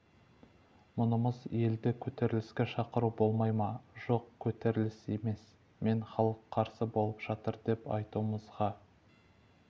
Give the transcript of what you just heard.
мұнымыз елді көтеріліске шақыру болмай ма жоқ көтеріліс емес мне халық қарсы болып жатыр деп айтуымызға